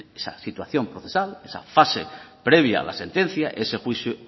en esa situación procesal esa fase previa a la sentencia ese juicio